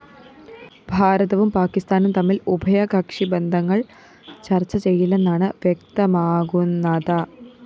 ഭാരതവും പാക്കിസ്ഥാനും തമ്മില്‍ ഉഭയകക്ഷി ബന്ധങ്ങള്‍ ചര്‍ച്ച ചെയ്യില്ലെന്നാണ് വ്യക്തമാകുന്നത